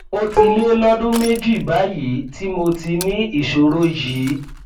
ó ti lé lọdún méjì báyìí tí mo ti ní ìṣòro yìí